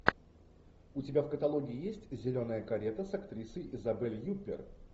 у тебя в каталоге есть зеленая карета с актрисой изабель юппер